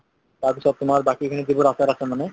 তাৰ পিছত তোমাৰ বাকী খিনি যিবোৰ আচাৰ আছে মানে